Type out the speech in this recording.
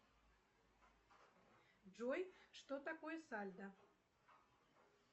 джой что такое сальдо